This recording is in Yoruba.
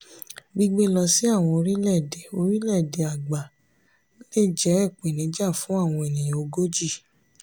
gbígbé lọ sí àwọn orílẹ̀-èdè orílẹ̀-èdè àgbà lè jẹ́ ìpèníjà fún àwọn ènìyàn ogójì.